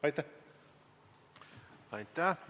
Aitäh!